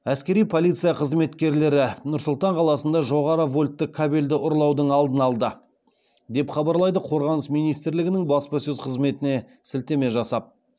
әскери полиция қызметкерлері нұр сұлтан қаласында жоғары вольтты кабельді ұрлаудың алдын алды деп хабарлайды қорғаныс министрлігінің баспасөз қызметіне сілтеме жасап